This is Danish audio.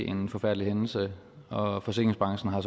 en forfærdelig hændelse og forsikringsbranchen har